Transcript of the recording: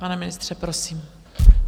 Pane ministře, prosím.